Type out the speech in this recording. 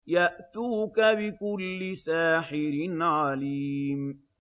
يَأْتُوكَ بِكُلِّ سَاحِرٍ عَلِيمٍ